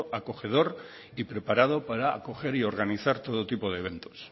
acogedor y preparado para acoger y organizar todo tipo de eventos